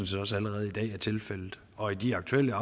set også allerede i dag er tilfældet og i de aktuelle